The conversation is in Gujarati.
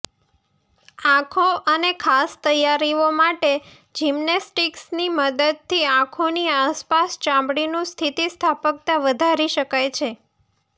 આંખો અને ખાસ તૈયારીઓ માટે જિમ્નેસ્ટિક્સની મદદથી આંખોની આસપાસ ચામડીનું સ્થિતિસ્થાપકતા વધારી શકાય છે